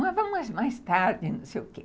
Não, vamos mais mais tarde, não sei o quê.